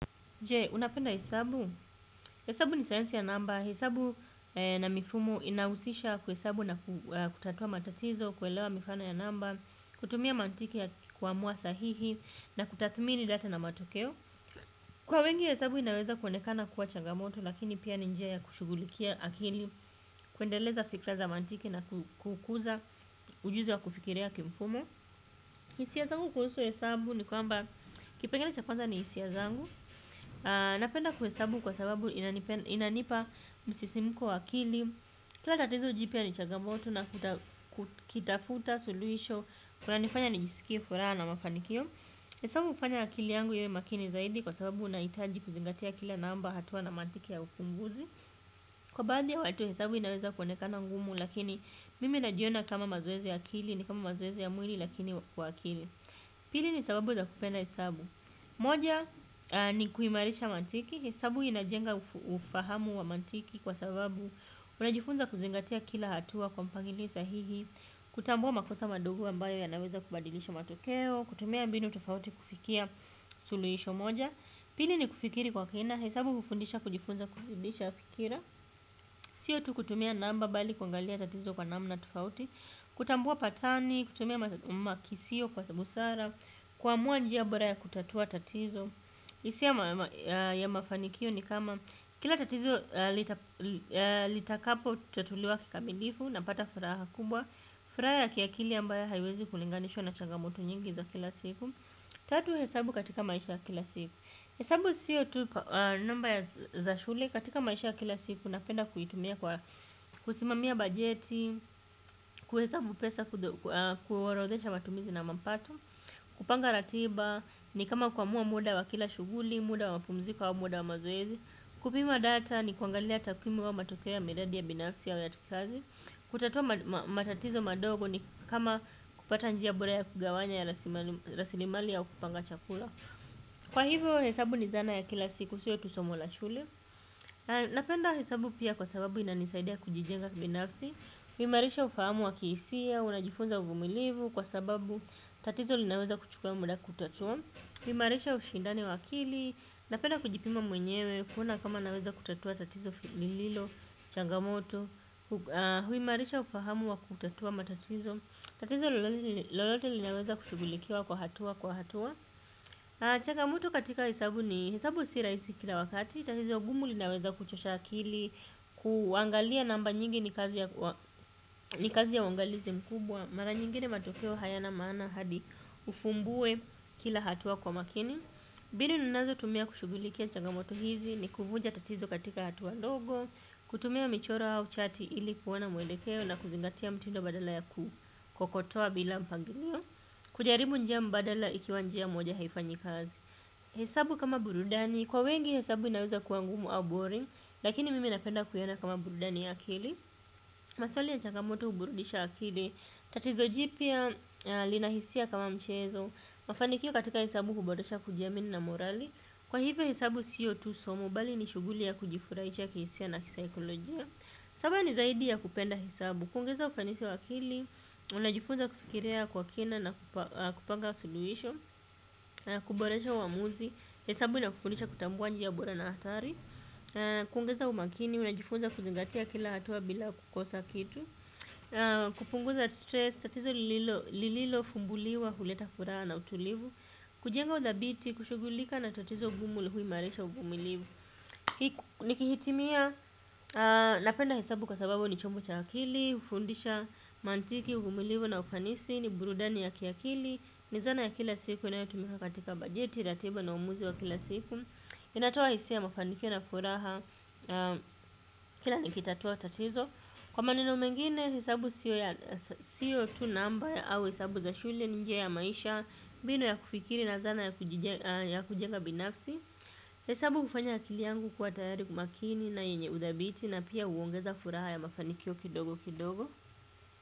Je, unapenda hesabu? Hesabu ni sayansi ya namba. Hesabu na mifumo inahusisha kuhesabu na kutatua matatizo, kuelewa mifano ya namba, kutumia mantiki ya kikwamua sahihi na kutathmini data na matokeo. Kwa wengi hesabu inaweza kuoenekana kuwa changamoto lakini pia ni njia kushughulikia akili, kuendeleza fikra za mantiki na kukuza ujuzi wa kufikiria kimfumo. Hisia zangu kuhusu hesabu ni kwamba kipengele cha kwanza ni hisia ya zangu. Napenda kuhesabu kwa sababu inanipa msisimuko wa akili. Kila tatizo jipya ni changamoto na kutafuta soluhisho kunanifanya nijisikie furaha na mafanikio. Hesabu hufanya akili yangu iwe makini zaidi. Kwa sababu unahitaji kuzingatia kila namba hatua na mantiki ya ufunguzi. Kwa baadhi ya watu hesabu inaweza kuoenekana ngumu. Lakini mimi najiona kama mazoezi ya akili ni kama mazoezi ya mwili lakini kwa akili. Pili ni sababu za kupenda hesabu. Moja ni kuhimarisha mantiki, hesabu inajenga ufahamu wa mantiki kwa sababu unajifunza kuzingatia kila hatua kwa mpangilio sahihi. Kutambua makosa mandogo ambayo yanaweza kubadilisha matokeo. Kutumia mbinu tofauti kufikia suluhisho moja. Pili ni kufikiri kwa kina, hesabu hufundisha kujifunza kufundisha fikira. Sio tu kutumia namba bali kuangalia tatizo kwa namna tofauti. Kutambua patani, kutumia makisio kwa busara. Kuamua njia bora ya kutatua tatizo hisia ya mafanikio ni kama kila tatizo litakapotatuliwa kikamilifu napata furaha kubwa. Furaha ya kiakili ambayo haiwezi kulinganishwa na changamoto nyingi za kila siku. Tatu hesabu katika maisha ya kila siku. Hesabu siyo tu namba za shule katika maisha ya kila siku napenda kuitumia kwa kusimamia bajeti. Kuhesabu pesa kuorodhesha matumizi na mapato, kupanga ratiba ni kama kuamua muda wa kila shughuli, muda wa mapumziko au muda wa mazoezi. Kupima data ni kuangalia takwimu au matokeo miradi ya binafsi au ata ya kikazi. Kutatua matatizo madogo ni kama kupata njia bora ya kugawanya rasilimali au kupanga chakula. Kwa hivyo hesabu ni zana ya kila siku siyo tu somo la shule. Napenda hesabu pia kwa sababu inanisaidia kujijenga kibinafsi kuimarisha ufahamu wa kihisia unajifunza uvumilivu kwa sababu tatizo linaweza kuchukua muda kutatua. Huimarisha ushindani wa akili, napenda kujipima mwenyewe, kuona kama naweza kutatua tatizo lililo, changamoto. Huimarisha ufahamu wa kutatua matatizo, tatizo lolote linaweza kushughulikiwa kwa hatua kwa hatua. Changamoto katika hesabu ni hesabu si rahisi kila wakati tatizo ngumu linaweza kuchosha akili, kuangalia namba nyingi ni kazi ya uangalizi mkubwa. Mara nyingine matokeo hayana maana hadi ufumbue kila hatua kwa makini. Mbinu ninazotumia kushughulikia changamoto hizi ni kuvuja tatizo katika hatua ndogo. Kutumia michoro au chati ili kuona mwelekeo na kuzingatia mtindo badala ya kukotoa bila mpangilio. Kujaribu njia mbadala ikiwa njia moja haifanyi kazi. Hesabu kama burudani, kwa wengi hesabu inaweza kuwa ngumu au boring. Lakini mimi napenda kuiona kama burudani ya akili. Maswali ya changamoto huburudisha akili. Tatizo jipya lina hisia kama mchezo. Mafanikio katika hesabu huboresha kujiamini na morali. Kwa hivyo hesabu siyo tu somo bali ni shughuli ya kujifurahisha kihisia na kisaikolojia. Sababu ni zaidi ya kupenda hesabu. Kuongeza ufanisi wa akili, unajifunza kufikiria kwa kina na kupanga suluhisho kuboresha uamuzi hesabu inakufundisha kutambua njia bora na hatari kuongeza umakini unajifunza kuzingatia kila hatua bila kukosa kitu kupunguza stress tatizo lililo fumbuliwa huleta furaha na utulivu kujenga udhabiti kushugulika na tatizo ngumu huimarisha uvumilivu nikihitimia napenda hesabu kwa sababu ni chombo cha akili hufundisha mantiki uvumilivu na ufanisi ni burudani ya kiakili. Ni zana ya kila siku inayotumika katika bajeti, ratiba na uamuzi wa kila siku. Inatoa hisia ya mafanikio na furaha kila nikitatua tatizo. Kwa maneno mengine hesabu siyo tu namba au hesabu za shule ni njia ya maisha mbinu ya kufikiri na zana ya kujenga binafsi. Hesabu hufanya akili yangu kuwa tayari kwa umakini na yenye udhabiti na pia huongeza furaha ya mafanikio kidogo kidogo.